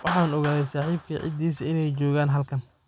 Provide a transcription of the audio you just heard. Waxan oogade saxibkey cidisa inay jogan halkan.